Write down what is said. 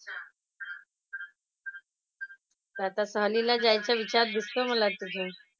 तर आता सहलीला जायचा विचार दिसतो मला तुझं.